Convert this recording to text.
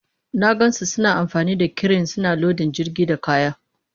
Na gan su suna amfani da kiren suna lodin jirgin da kaya.